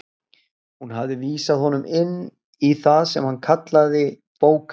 Hún hafði vísað honum inn í það sem hún kallaði bóka